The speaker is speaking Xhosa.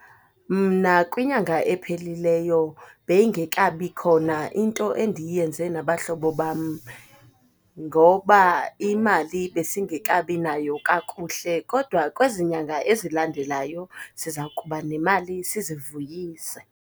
Mna kwinyanga ephelileyo beyingekabikhona into endiyenze nabahlobo bam ngoba imali besingekabinayo kakuhle. Kodwa kwezinyanga ezilandelayo, siza kuba nemali sizivuyise.